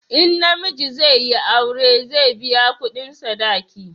in namiji zai yi aure, zai biya kudin sadaki